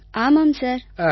ஆமாம் சார் ஆமாம் சார்